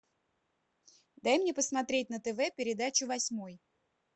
дай мне посмотреть на тв передачу восьмой